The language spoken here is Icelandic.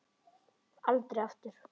Aldrei aftur.